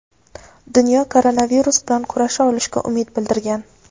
Dunyo koronavirus bilan kurasha olishiga umid bildirgan.